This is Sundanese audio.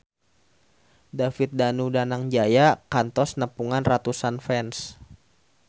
David Danu Danangjaya kantos nepungan ratusan fans